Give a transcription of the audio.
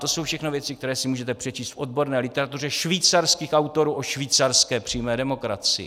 To jsou všechno věci, které si můžete přečíst v odborné literatuře švýcarských autorů o švýcarské přímé demokracii.